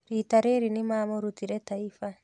Rita rĩrĩ nĩmamũrutire Taifa